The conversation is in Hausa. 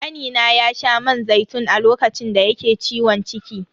Kanina ya sha man zaitun a lokacin da yake ciwon ciki.